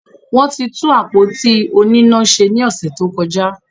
Wọ́n ti tún àpótí oníná se ní ọ̀sẹ̀ tó kọjá.